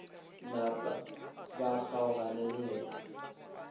napa ba kgaogana le yena